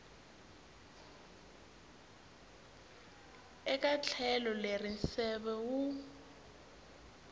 eka tlhelo leri nseve wu